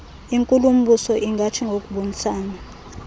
inkulumbuso ingathi ngokubonisana